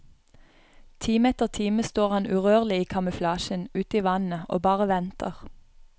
Time etter time står han urørlig i kamuflasjen, uti vannet, og bare venter.